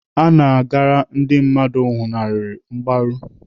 Ana agara ndị mmadụ nwụlaharụ mgbaru.